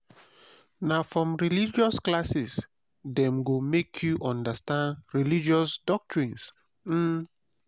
na from religious classes dem go make you understand religious doctrines. um